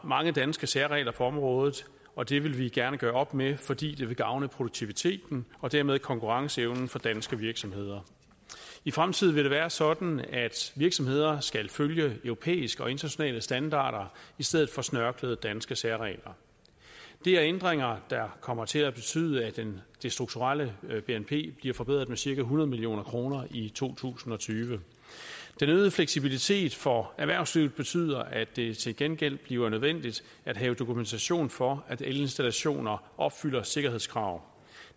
mange danske særregler på området og det vil vi gerne gøre op med fordi det vil gavne produktiviteten og dermed konkurrenceevnen for danske virksomheder i fremtiden vil det være sådan at virksomheder skal følge europæiske og internationale standarder i stedet for snørklede danske særregler det er ændringer der kommer til at betyde at det det strukturelle bnp bliver forbedret med cirka hundrede million kroner i to tusind og tyve den øgede fleksibilitet for erhvervslivet betyder at det til gengæld bliver nødvendigt at have dokumentation for at elinstallationer opfylder sikkerhedskrav